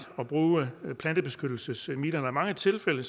at bruge plantebeskyttelsesmidler i mange tilfælde